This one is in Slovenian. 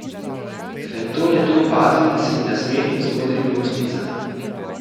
Fenton je to opazil in se mi nasmehnil z modrimi ustnicami.